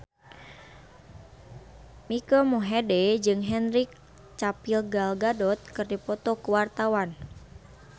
Mike Mohede jeung Henry Cavill Gal Gadot keur dipoto ku wartawan